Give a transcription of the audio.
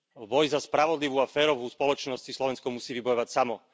Boj za spravodlivú a férovú spoločnosť si Slovensko musí vybojovať samo.